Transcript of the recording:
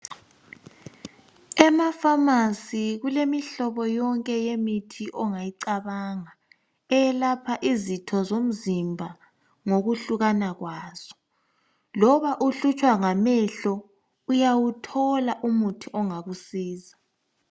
EmaFamasi kulemihlobo yonke yemithi ongayicabanga eyelapha izitho zomzimba ngokwehlukana kwazo. Loba uhlutshwa ngamehlo uyawuthola umuthi ongakusiza.